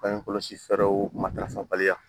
Bange kɔlɔsi fɛ fɛɛrɛw matarafabaliya